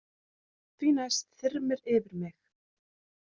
Því næst þyrmir yfir mig.